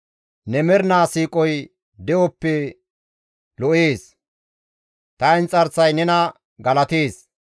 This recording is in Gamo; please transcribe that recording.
Ne mernaa siiqoy de7oppe lo7ees; ta inxarsay nena galatees.